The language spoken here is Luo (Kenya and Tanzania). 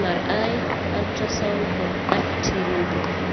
MRI, ultrasound, kod arteriography.